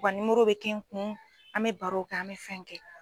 U ka nimoro bɛ kɛ n kun an mɛ barow kɛ an mɛ fɛn kɛ.